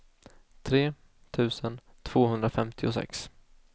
tre tusen tvåhundrafemtiosex